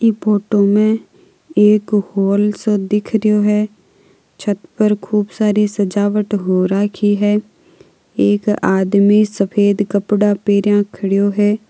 ये फोटो में एक हॉल सा दिखरो है छत पर खूब सारी सजावट हो राखी है एक आदमी सफ़ेद कपडा पहनो खड़ा है।